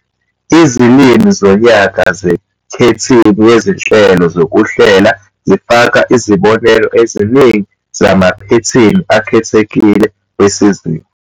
Izilimi zonyaka zeKhethini Yezinhlelo Zokuhlela zifaka izibonelo eziningi zamaphethini akhethekile wesizinda.